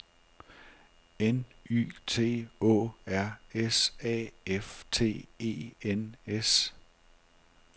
N Y T Å R S A F T E N S